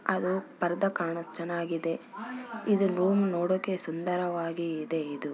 ಅದು ಪರ್ದ ಕಾಣತ್ ಚನಾಗಿದೆ ಇದನ್ ರೂಮ್ ನೊಡೋಕೆ ಸುಂದರವಾಗಿ ಇದೆ ಇದು.